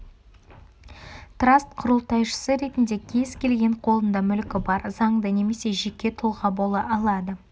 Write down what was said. траст құрылтайшысы ретінде кез келген қолында мүлкі бар заңды немесе жеке тұлға бола алады